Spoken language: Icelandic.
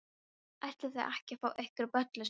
Ætlið þið ekki að fá ykkur bollu, stelpur?